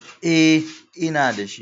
E, ina da shi.